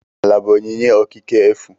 Ala bụ onyinye okike efu.